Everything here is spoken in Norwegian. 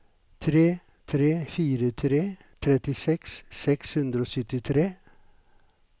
tre tre fire tre trettiseks seks hundre og syttitre